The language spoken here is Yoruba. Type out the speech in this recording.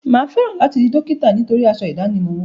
Mà á fẹ́ràn láti di dókítà nítorí aṣọ ìdánimọ̀ wọn.